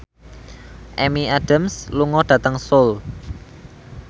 Amy Adams lunga dhateng Seoul